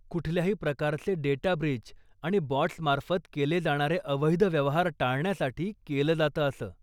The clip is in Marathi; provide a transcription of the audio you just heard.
कुठल्याही प्रकारचे डेटा ब्रीच आणि बॉट्समार्फत केले जाणारे अवैध व्यवहार टाळण्यासाठी केलं जातं असं.